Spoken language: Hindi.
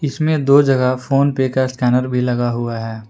इसमें दो जगह फोनपे का स्कैनर भी लगा हुआ है।